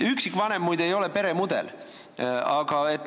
Üksikvanem, muide, ei ole peremudel.